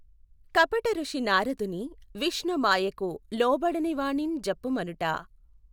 కపటఋషి నారదుని విష్ణుమాయకు లోబడనివానిఁ జెప్పుమనుట